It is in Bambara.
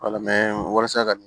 wala mɛ walasa ka